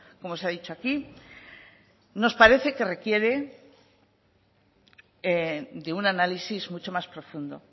como se ha dicho aquí nos parece que requiere de un análisis mucho más profundo